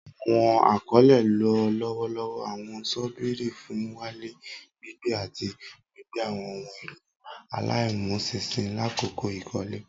Awọn akọle lo lọwọlọwọ awọn ṣọ́bìrì fun n walẹ, gbigbe, ati gbigbe awọn ohun elo alaimuṣinṣin lakoko ikole.